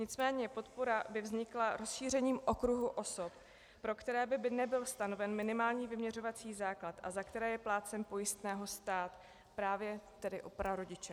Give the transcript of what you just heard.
Nicméně podpora by vznikla rozšířením okruhu osob, pro které by nebyl stanoven minimální vyměřovací základ a za které je plátcem pojistného stát, právě tedy pro prarodiče.